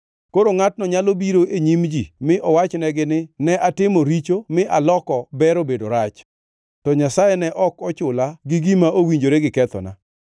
Koro ngʼatno nyalo biro e nyim ji mi owachnegi ni, Ne atimo richo mi aloko ber obedo rach, to Nyasaye ne ok ochula gi gima owinjore gi kethona.